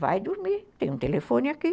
Vai dormir, tem um telefone aqui.